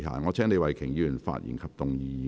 我請李慧琼議員發言及動議議案。